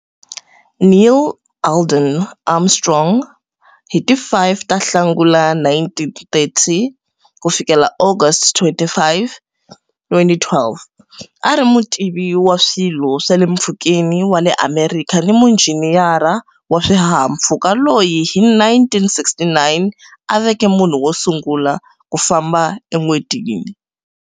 Neil Alden Armstrong, Hi ti 5 ta Nhlangula 1930-August 25, 2012, a a ri mutivi wa swilo swa le mpfhukeni wa le Amerika ni munjhiniyara wa swihahampfhuka loyi, hi 1969, a veke munhu wo sungula ku famba eN'wetini.